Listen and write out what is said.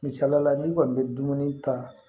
Misalila n'i kɔni bɛ dumuni ta